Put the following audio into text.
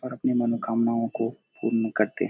और अपनी मनोकामनाओ को पुरन करते हैं।